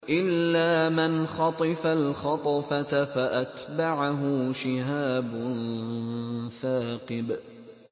إِلَّا مَنْ خَطِفَ الْخَطْفَةَ فَأَتْبَعَهُ شِهَابٌ ثَاقِبٌ